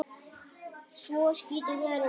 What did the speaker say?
Svo skítug er hún ekki.